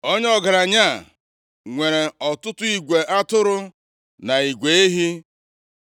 Onye ọgaranya a nwere ọtụtụ igwe atụrụ na igwe ehi.